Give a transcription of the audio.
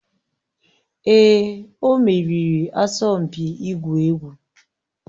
Èè, o meriri asọmpi ịgwu egwu.